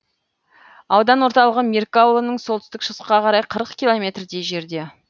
аудан орталығы меркі ауылынан солтүстік шығысқа қарай қырық километрдей жерде